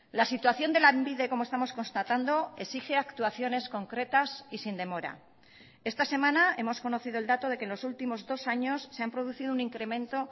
la situación de lanbide como estamos constatando exige actuaciones concretas y sin demora esta semana hemos conocido el dato de que en los últimos dos años se han producido un incremento